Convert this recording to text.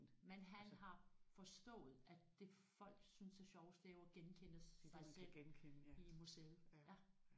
Men har forstået at det folk synes er sjovest det er jo at genkende sig selv i museet ja